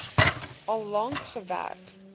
al lank gewerk